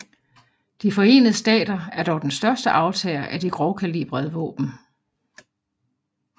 De Forenede Stater er dog den største aftager af de grovkalibrede våben